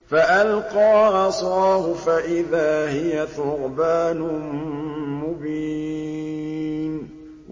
فَأَلْقَىٰ عَصَاهُ فَإِذَا هِيَ ثُعْبَانٌ مُّبِينٌ